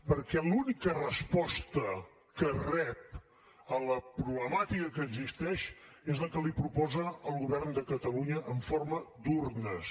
perquè l’única resposta que rep a la problemàtica que existeix és la que li proposa el govern de catalunya en forma d’urnes